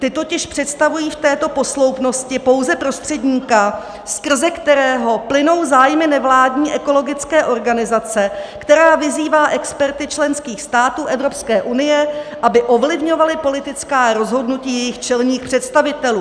Ti totiž představují v této posloupnosti pouze prostředníka, skrze kterého plynou zájmy nevládní ekologické organizace, která vyzývá experty členských států Evropské unie, aby ovlivňovali politická rozhodnutí jejích čelních představitelů.